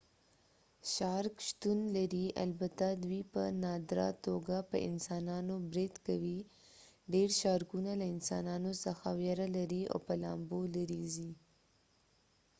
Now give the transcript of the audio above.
شارک شتون لري البته دوی په نادره توګه په انسانانو برید کوي ډیر شارکونه له انسانانو څخه ویره لري او په لامبو لري ځي